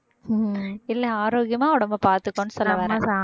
இல்லை ஆரோக்கியமா உடம்பை பார்த்துக்கோன்னு சொல்ல வேணாம்